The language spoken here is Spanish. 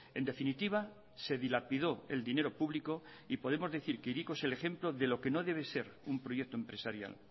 en definitiva se dilapidó el dinero público y podemos decir que hiriko es el ejemplo de lo que no debe ser un proyecto empresarial